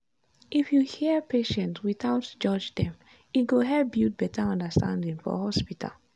if you hear patients without judge dem e go help build better understanding for hospital.